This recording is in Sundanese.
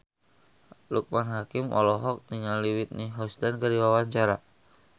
Loekman Hakim olohok ningali Whitney Houston keur diwawancara